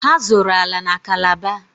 Ha zụrụ ala na Calabar.